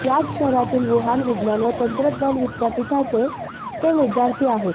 याच शहरातील वुहान विज्ञान व तंत्रज्ञान विद्यापीठाचे ते विद्यार्थी आहेत